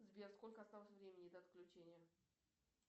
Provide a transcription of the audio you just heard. сбер сколько осталось времени до отключения